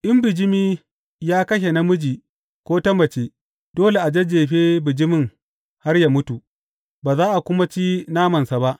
In bijimi ya kashe namiji ko ta mace, dole a jajjefe bijimin har yă mutu, ba za a kuma ci namansa ba.